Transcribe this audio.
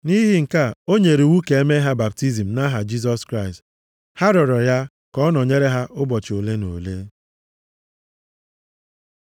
Nʼihi nke a, o nyere iwu ka e mee ha baptizim nʼaha Jisọs Kraịst. Ha rịọrọ ya ka ọ nọnyere ha ụbọchị ole na ole.